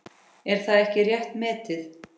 Er það ekki rétt metið?